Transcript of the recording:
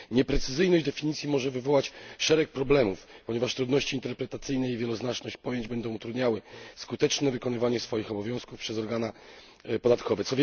Nieprecyzyjność definicji może wywołać szereg problemów, ponieważ trudności interpretacyjne i wieloznaczność pojęć będą utrudniały skuteczne wypełnianie swoich obowiązków przez organy podatkowe.